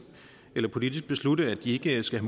eller politisk at beslutte at de ikke skal